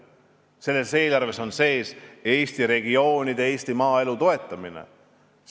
Selles eelarves on sees Eesti regioonide, Eesti maaelu toetamine.